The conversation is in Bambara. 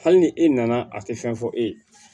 Hali ni e nana a tɛ fɛn fɔ e ye